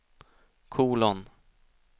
kolon